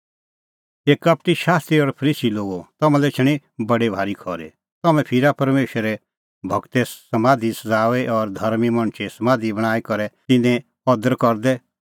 हे कपटी शास्त्री और फरीसी लोगो तम्हां लै एछणी बडी भारी खरी तम्हैं फिरा परमेशरे गूरे समाधी सज़ाऊई और धर्मीं मणछे समाधी बणांईं करै तिन्नें अदर करदै